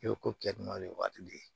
I bɛ ko kɛ dunanw ye waati de